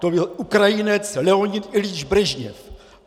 To byl Ukrajinec Leonid Iljič Brežněv!